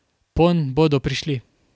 Ponj bodo prišli.